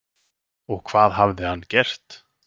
Og hvað hafði hann gert?